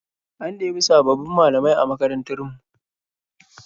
An ɗebi sabbabin malamai a makarantar mu.